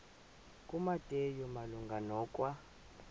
kumateyu malunga nokwa